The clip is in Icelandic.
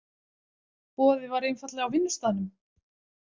Boðið var einfaldlega á vinnustaðnum.